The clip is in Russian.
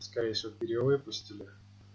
скорее всего перевыпустили